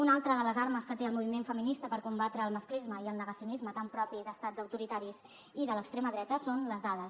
una altra de les armes que té el moviment feminista per combatre el masclisme i el negacionisme tan propi d’estats autoritaris i de l’extrema dreta són les dades